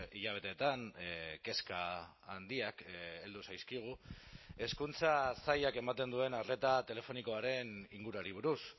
hilabeteetan kezka handiak heldu zaizkigu hezkuntza sailak ematen duen arreta telefonikoaren inguruari buruz